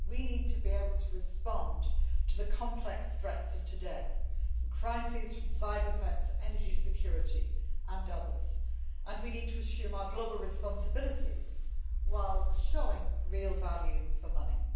We need to be able to respond to the complex threats of today crises from cyber threats, energy security and others and we need to assume our global responsibilities whilst showing real value for money.